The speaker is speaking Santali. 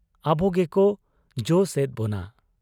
ᱟᱵᱚ ᱜᱮᱠᱚ ᱡᱚᱥ ᱮᱫ ᱵᱚᱱᱟ ᱾